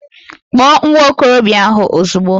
Kpọọ nwa okorobịa ahụ ozugbo